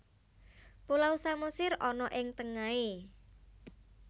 Pulau Samosir ana ing tengahe